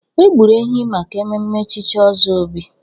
E gburu ehi maka mmemme echichi ọzọ Obi.